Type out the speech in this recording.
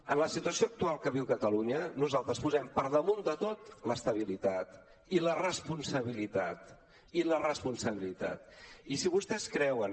en la situació actual que viu catalunya nosaltres posem per damunt de tot l’estabilitat i la responsabilitat i la responsabilitat i si vostès creuen